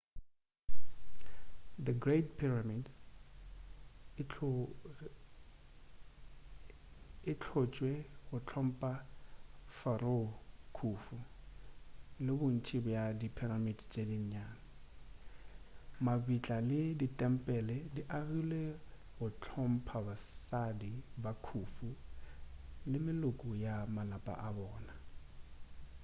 the great pyramid e hlotšwe go hlompha pharaoh khufu le bontši bja di pyramid tše nnyane mabitla le ditempele di agilwe go hlompha basadi ba khufu le meloko ya malapa a bona